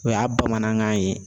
O y'a bamanankan ye